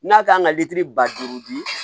N'a kan ka litiri ba duuru di